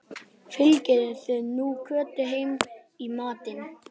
Fylgið þið nú Kötu heim í matinn